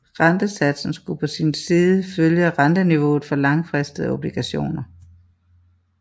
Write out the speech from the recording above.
Rentesatsen skulle på sin side følge renteniveauet for langfristede obligationer